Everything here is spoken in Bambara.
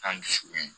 An dusukun